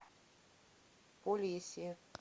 полесье